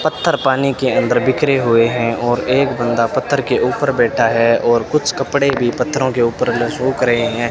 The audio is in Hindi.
पत्थर पानी के अंदर बिखरे हुए हैं और एक बंदा पत्थर के ऊपर बैठा है और कुछ कपड़े भी पत्थरों के ऊपर में सूख रहे हैं।